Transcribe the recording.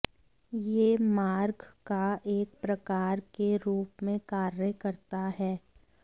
यह मारक का एक प्रकार के रूप में कार्य करता है